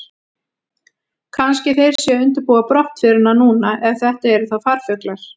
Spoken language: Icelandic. Kannski þeir séu að undirbúa brottförina núna, ef þetta eru þá farfuglar.